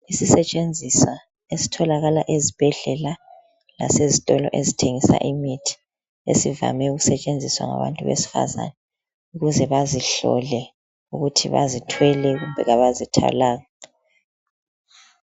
Yisisentshenziswa esitholakala esibhedlela lasezitolo ezithengisa imithi esivame ukusentshenziswa ngabantu besifazana. Ukuze bazihlole ukuthi bazithwele kumbe abazithwalanga.